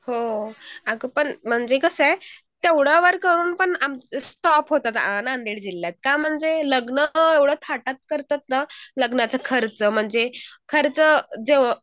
हो अगं पण म्हणजे कसं आहे तेवढ्यावर करून पण स्टॉप होतात. नांदेड जिल्ह्यात का म्हणजे लग्न तर एवढं थाटात करत्यात ना लग्नाचे खर्च म्हणजे खर्च